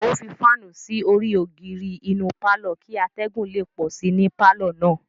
O fi faanu sí orí ogiri inú parlor kì atẹgun le pọ sí ní parlor náà